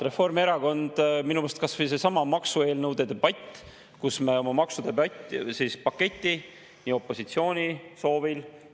Minu arust kas või seesama maksueelnõude debatt: me oma maksupaketi opositsiooni soovil.